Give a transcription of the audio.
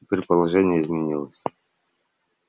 теперь положение изменилось